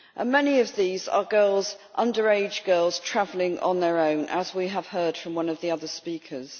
Many of these are underage girls travelling on their own, as we have heard from one of the other speakers.